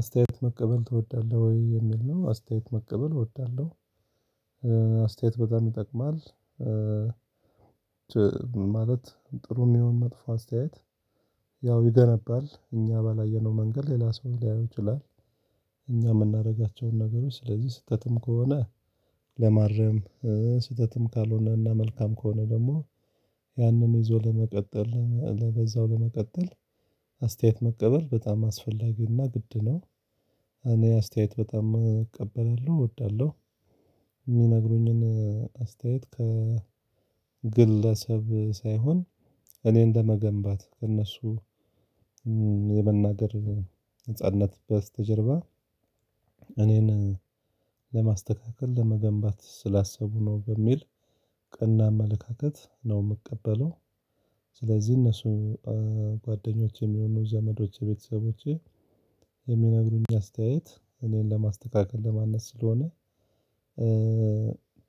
አስተያየት መቀበል ትወዳለህ ወይ የሚል ነው? አስተያየት መቀበል እወዳለሁ አስተያየት በጣም ይጠቅማል። ማለት ጥሩም ይሁን መጥፎ አስተያየት ያው ይገነባል እኛ ባላየነው መንገድ ሌላ ሰው ሊያየው ይችላል። እኛ የምናደርጋቸውን ነገሮች ስለዚህ ስህተትም ከሆነ ለማረም ስህተትም ካልሆነና መልካም ከሆነ ደግሞ ያንን ይዞ ለመቀጠል ለበዛው ለመቀጠል። አስተያየት መቀበል በጣም አስፈላጊና ግድ ነው። እኔ አስተያየት በጣም እቀበላለሁ እወዳለሁ። የሚነግሩኝን አስተያየት ከግለሰብ ሳይሆን እኔን ለመገንባት ክነሱ የመናገር ነጻነት በስተጀርባ እኔን ለማስተካከል ለመገንባት ስላሰቡ ነው በሚል ቀና አመለካከት ነው የምቀበለው። ስለዚህ እነሱ ጓደኞቼም ይሁኑ ዘመዶቼ ቤተሰቦቼ የሚነግሩኝ አስተያየት እኔን ለማስተካከል ለማነጽ ስለሆነ።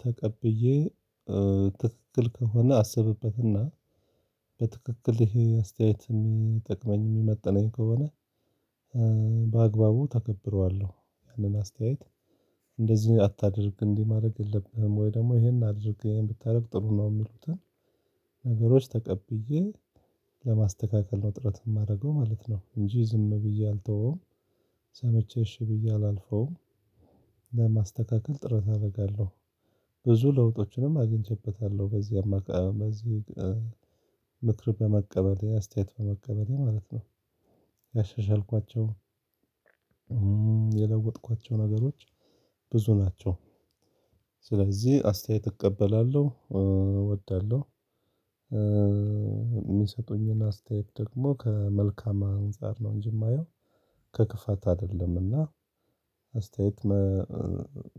ተቀብዬ ትክክል ከሆነ አስብበትና በትክክል ይሄ አስተያየት የሚጠቅመኝ የሚመጥነኝ ከሆነ በአግባቡ ተገብረዋለሁ። ያንን አስተያየት እንደዚህ አታድርግ እንዲህ ማድረግ የለብህም ወይ ደግሞ ይሄን አድርግ ብታደርግ ጥሩ ነው የሚሉትን ነገሮች ተቀብዬ ለማስተካከል ነው ጥረት የማደርገው ማለት ነው። እንጂ ዝም ብዬ አልተወውም። ሰምቼ እሺ ብዬ አላልፈውም። ለማስተካከል ጥረት አደርጋለሁ። ብዙ ለውጦችንም አጊኝቼበታለሁ በዚህ አማካኝ በዚህ ምክር በመቀበል አስተያየት በመቀበል ማለት ነው። ያሻሻልኳቸው የለወጥኳቸው ነገሮች ብዙ ናቸው። ስለዚህ አስተያየት እቀበላለሁ እወዳለሁ። የሚሰጡኝን አስተያየት ደግሞ ከመልካም አንፃር ነው እንጂ የማየው ከክፋት አይደለምና። አስተያየት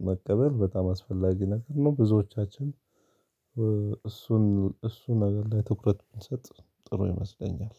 መቀበል በጣም አስፈላጊ ነገር ነው ብዙዎቻችን እሱን እሱን ነገር ላይ ትኩረት ብንሰጥ ጥሩ ይመስለኛል።